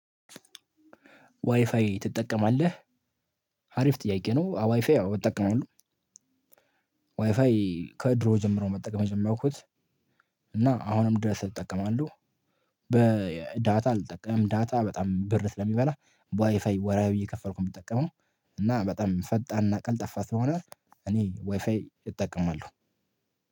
ዋይፋይ ትጠቀማለህ? አሪፍ ጥያቄ ነው። አዎ ዋይፋይ ያው እጠቀማለው። ዋይፋይ ከድሮ ጀምሮ ነው መጠቀም የጀመርኩት። እና አሁንም ድረስ እጠቀማለው። በዳታ አልጠቀምም። ዳታ በጣም ብር ስለሚበላ በዋይፋይ ወርሃዊ እየከፈልኩ ነው የምጠቀመው። እና በጣም ፈጣንና ቀልጠፋ ስለሆነ እኔ ዋይፋይ እጠቀማለሁ።